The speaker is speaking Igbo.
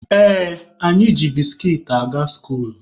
Ee, anyị ji biskit aga skuulu.